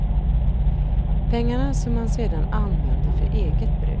Pengar som han sedan använde för eget bruk.